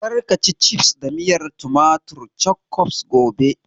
Kar ka ci cifs da miyar tumatir (Ketchup) gobe!